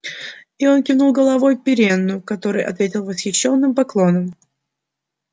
и он кивнул головой пиренну который ответил восхищенным поклоном